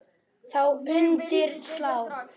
Þá undir slá.